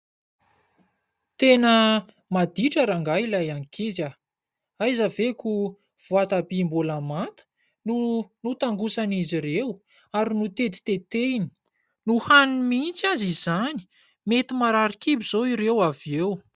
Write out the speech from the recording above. Tena maditra rangahy ilay ankizy. Aiza ve koa voatabia mbola manta no notangosan'izy ireo ary notetitetehiny. Nohaniny mihitsy aza izany. Mety marary kibo izao ireo avy eo.